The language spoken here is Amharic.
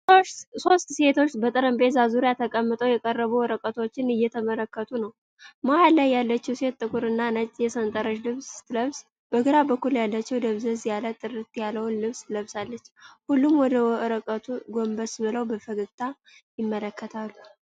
ሶስት ሴቶች በጠረጴዛ ዙሪያ ተቀምጠው የቀረቡ ወረቀቶችን እየተመለከቱ ነው። መሃል ላይ ያለችው ሴት ጥቁር እና ነጭ የሰንጠረዥ ልብስ ስትለብስ በግራ በኩል ያለችው ደብዘዝ ያለ ጥለት ያለውን ልብስ ለብሳለች። ሁሉም ወደ ወረቀቱ ጎንበስ ብለው በፈገግታ ይመለከታሉ።